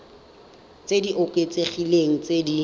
tse di oketsegileng tse di